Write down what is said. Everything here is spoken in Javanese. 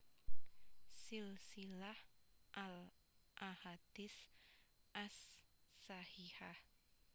Silsilah al Ahadits ash Shahihah